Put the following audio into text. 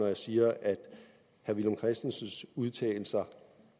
jeg siger at herre villum christensens udtalelser